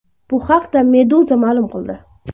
Bu haqda Meduza maʼlum qildi .